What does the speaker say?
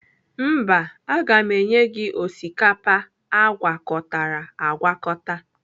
Mba, aga m enye ha osikapa agwakọtara agwakọta.